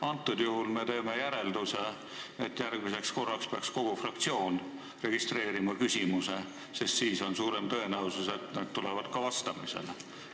Antud juhul me teeme järelduse, et järgmiseks korraks peaks kogu fraktsioon registreerima küsimuse, sest siis on suurem tõenäosus, et need tulevad ka vastamisele.